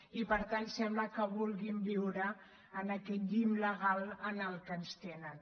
i per tant sembla que vulguin viure en aquests llimbs legals en els que ens tenen